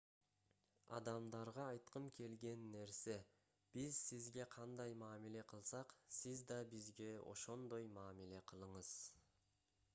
адамдарга айткым келген нерсе биз сизге кандай мамиле кылсак сиз да бизге ошондой мамиле кылыңыз